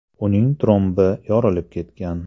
Uning trombi yorilib ketgan.